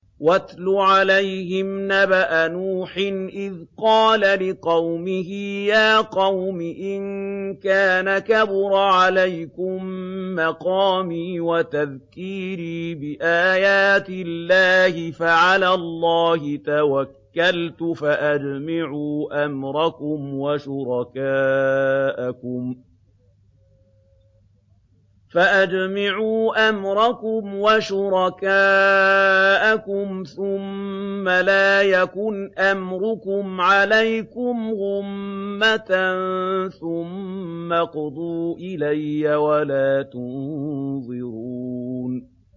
۞ وَاتْلُ عَلَيْهِمْ نَبَأَ نُوحٍ إِذْ قَالَ لِقَوْمِهِ يَا قَوْمِ إِن كَانَ كَبُرَ عَلَيْكُم مَّقَامِي وَتَذْكِيرِي بِآيَاتِ اللَّهِ فَعَلَى اللَّهِ تَوَكَّلْتُ فَأَجْمِعُوا أَمْرَكُمْ وَشُرَكَاءَكُمْ ثُمَّ لَا يَكُنْ أَمْرُكُمْ عَلَيْكُمْ غُمَّةً ثُمَّ اقْضُوا إِلَيَّ وَلَا تُنظِرُونِ